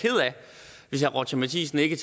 hvis herre roger matthisen ikke